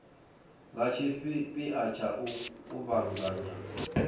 nga tshipia tsha u kuvhanganya